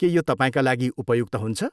के यो तपाईँका लागि उपयुक्त हुन्छ?